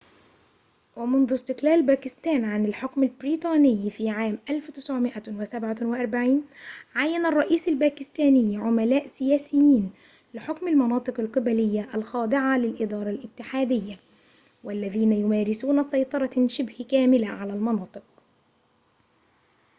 ومنذ استقلال باكستان عن الحكم البريطاني في عام 1947 عيّن الرئيس الباكستاني عملاء سياسيين لحكم المناطق القبلية الخاضعة للإدارة الاتحادية والذين يمارسون سيطرة شبه كاملة على المناطق